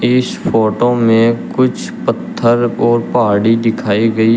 इस फोटो में कुछ पत्थर और पहाड़ी दिखाई गई है।